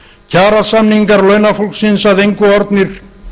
kjarasamningar launafólksins að engu orðnir